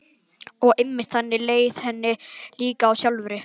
Og einmitt þannig leið henni líka sjálfri.